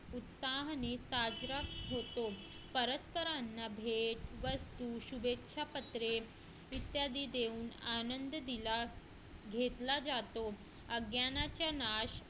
उत्साहाने साजरा होतो परस्परांना भेट वस्तू शुभेच्छा पत्रे इत्यादी देऊन आनंद दिला घेतला जातो अज्ञानाचा नाश